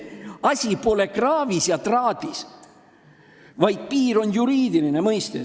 Asi pole kraavis ja traadis, piir on eelkõige juriidiline mõiste.